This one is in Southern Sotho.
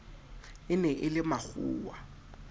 e ne e le makgowa